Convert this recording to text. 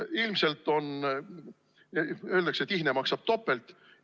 Öeldakse, et ihne maksab topelt.